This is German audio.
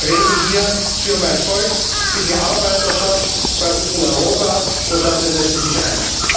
Ich rede hier für mein Volk, für die Arbeiterschaft bei uns in Europa, und dafür setze ich mich ein.